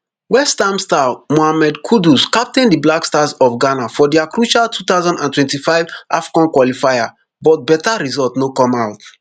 westham star mohammed kudus captain di black stars of ghana for dia crucial two thousand and twenty-five afcon qualifier but beta result no come out